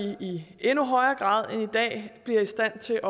vi i endnu højere grad end i dag bliver i stand til